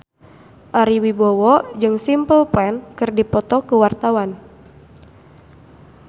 Ari Wibowo jeung Simple Plan keur dipoto ku wartawan